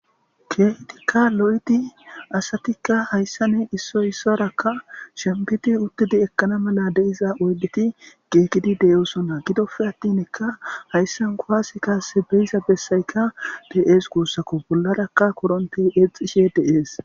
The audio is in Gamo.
Keehidika lo'id asatika issa issuwara shempid utid ekana mala de'za oydet giigid de'osona gidoppe atinka haysan kuwase Kase be'iza besayka de'es gusako , bollaraka korontey exishe de'es.